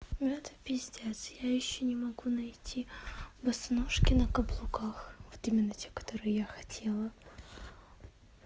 это пиздец я ещё не могу найти босоножки на каблуках вот именно те которые я хотела